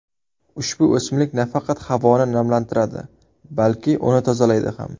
Ushbu o‘simlik nafaqat havoni namlantiradi, balki uni tozalaydi ham.